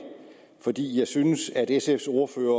fordi jeg synes at sfs ordfører